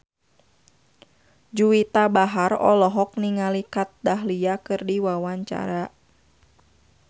Juwita Bahar olohok ningali Kat Dahlia keur diwawancara